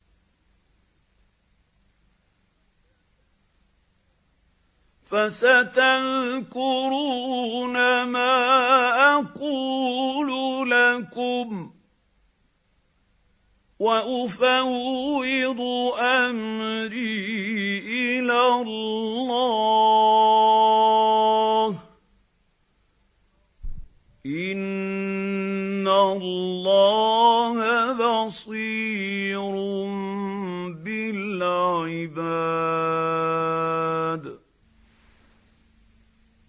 فَسَتَذْكُرُونَ مَا أَقُولُ لَكُمْ ۚ وَأُفَوِّضُ أَمْرِي إِلَى اللَّهِ ۚ إِنَّ اللَّهَ بَصِيرٌ بِالْعِبَادِ